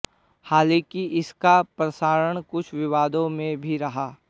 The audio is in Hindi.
हालांकि इसका प्रसारण कुछ विवादों में भी रहा